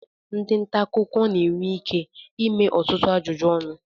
ndị nta akụkọ ga-enwe ike ịme ọtụtụ ajụjụ ọnụ